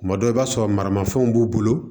Tuma dɔw i b'a sɔrɔ maramafɛnw b'u bolo